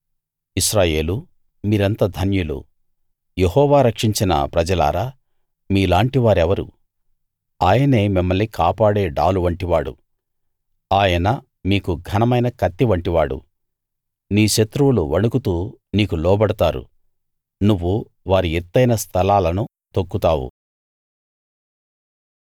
ఇశ్రాయేలూ మీరెంత ధన్యులు యెహోవా రక్షించిన ప్రజలారా మీలాంటి వారెవరు ఆయనే మిమ్మల్ని కాపాడే డాలు వంటివాడు ఆయన మీకు ఘనమైన కత్తి వంటివాడు నీ శత్రువులు వణుకుతూ నీకు లోబడతారు నువ్వు వారి ఎత్తయిన స్థలాలను తొక్కుతావు